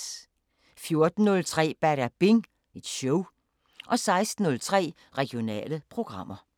14:03: Badabing Show 16:03: Regionale programmer